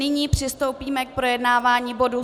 Nyní přistoupíme k projednávání bodu